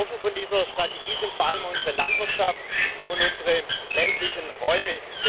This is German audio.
Betroffen von dieser Strategie sind vor allem unsere Landwirtschaft und unsere ländlichen Räume